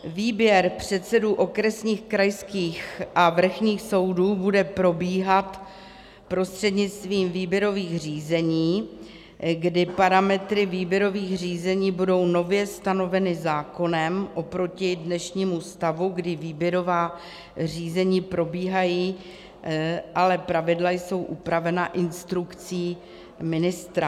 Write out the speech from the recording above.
Výběr předsedů okresních, krajských a vrchních soudů bude probíhat prostřednictvím výběrových řízení, kdy parametry výběrových řízení budou nově stanoveny zákonem oproti dnešnímu stavu, kdy výběrová řízení probíhají, ale pravidla jsou upravena instrukcí ministra.